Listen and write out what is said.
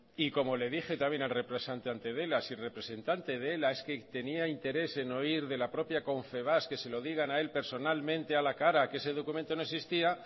y como le dije también al representante de ela si es que el representante de ela tenía interés en oír de la propia confebask que se lo digan a el personalmente a la cara que se documento no existía